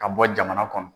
Ka bɔ jamana kɔnɔ